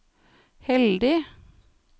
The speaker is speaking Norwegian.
heldig